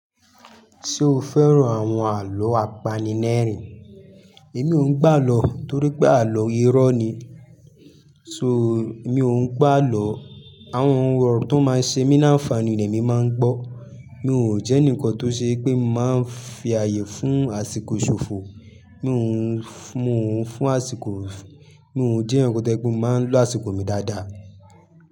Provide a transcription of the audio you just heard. Ṣé o fẹ́ràn àwọn àlọ́ apanirẹ́rìn? Èmi òun gbọ́ àlọ́, torí pé àlọ́ irọ́ ni sọ èmi òun gbọ́ àlọ́. Àwọn ohùn ọ̀rọ̀ tó máa ń ṣe mí láǹfààní ni èmi máa ń gbọ́. Mi ò jẹ́ ẹnìkan tó ṣe wípé mo máa ń fi àyè fún àsìkò ṣòfò. Mi ò ń, mo ń fún àsìkò, mi ò jẹ́ ẹnìkan tó jépé máa ń lo àsìkò mi dáadáa.